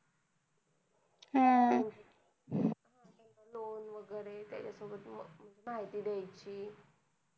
हम्म loan वैगेरे तेच सोबत माहिती द्याचि